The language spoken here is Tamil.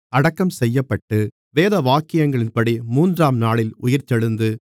அடக்கம் செய்யப்பட்டு வேதவாக்கியங்களின்படி மூன்றாம்நாளில் உயிர்த்தெழுந்து